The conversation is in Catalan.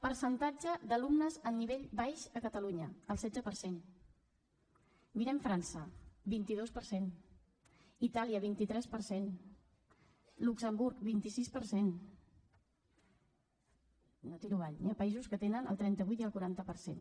percentatge d’alumnes amb nivell baix a catalunya el setze per cent mirem frança vint dos per cent itàlia vint tres per cent luxemburg vint sis per cent i no tiro avall hi ha països que tenen el trenta vuit i el quaranta per cent